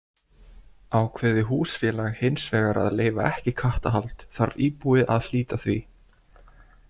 Ákveði húsfélag hins vegar að leyfa ekki kattahald þarf íbúi að hlíta því.